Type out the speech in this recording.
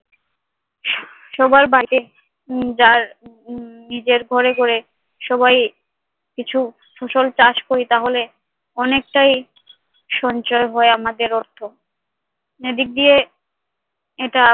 সবার বাড়িতেই যার নিজের ঘরে ঘরে সবাই কিছু ফসল চাষ করি তাহলে অনেকটাই সঞ্চয় হয় আমাদের অর্থ। এদিক দিয়ে এটা